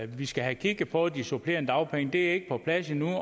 vi skal have kigget på de supplerende dagpenge det er ikke på plads endnu